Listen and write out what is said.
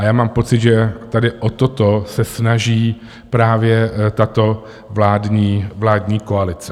A já mám pocit, že tady o toto se snaží právě tato vládní koalice.